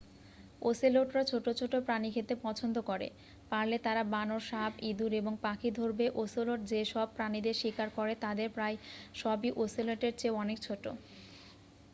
ওসেলোটরা ছোট ছোট প্রাণী খেতে পছন্দ করে পারলে তারা বানর সাপ ইঁদুরএবং পাখি ধরবে ওসেলোট যে সব প্রাণীদের শিকার করে তাদের প্রায় সবইওসেলোটের চেয়ে অনেক ছোট